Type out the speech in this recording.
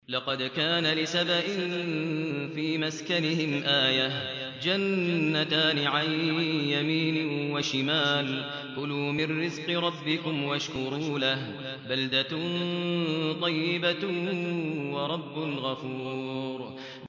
لَقَدْ كَانَ لِسَبَإٍ فِي مَسْكَنِهِمْ آيَةٌ ۖ جَنَّتَانِ عَن يَمِينٍ وَشِمَالٍ ۖ كُلُوا مِن رِّزْقِ رَبِّكُمْ وَاشْكُرُوا لَهُ ۚ بَلْدَةٌ طَيِّبَةٌ وَرَبٌّ غَفُورٌ